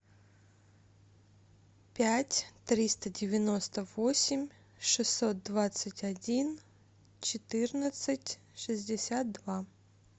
пять триста девяносто восемь шестьсот двадцать один четырнадцать шестьдесят два